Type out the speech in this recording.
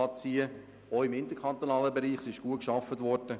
Auch im interkantonalen Bereich wurde gut gearbeitet.